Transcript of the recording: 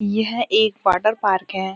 यह एक water park है |